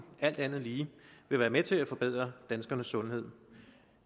alt andet lige vil være med til at forbedre danskernes sundhed